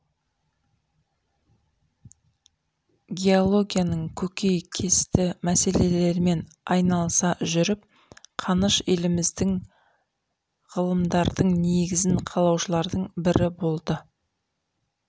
геологияның көкейкесті мәселелерімен айналыса жүріп қаныш еліміздегі ғылымдардың негізін қалаушылардың бірі болды